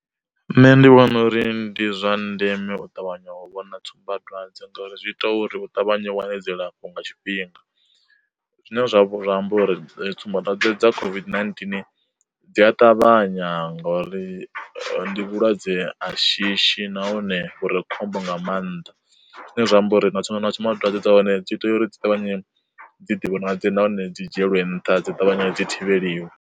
Nṋe ndi vhona uri ndi zwa ndeme u ṱavhanya wa u vhona tsumbadwadze ngauri zwi ita uri hu ṱavhanye wane dzilafho nga tshifhinga, zwine zwa amba uri tsumbadwadze dza COVID-19 dzi a ṱavhanya ngori ndi vhulwadze a shishi nahone uri khombo nga maanḓa, zwine zwa amba uri na na tsumba dzwadze dza hone dzi tea uri dzi ṱavhanye dzi ḓi vhonadze nahone dzi dzhielwe nṱha dzi ṱavhanye dzi thivheliwe.